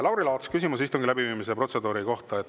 Lauri Laats, küsimus istungi läbiviimise protseduuri kohta.